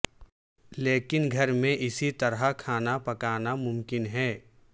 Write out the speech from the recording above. لیکن گھر میں اسی طرح کھانا پکانا ممکن ہے